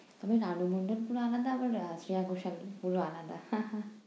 তুমি রানু মণ্ডল বলে আর শ্রেয়া ঘোষাল পুরো আলাদা হা হা।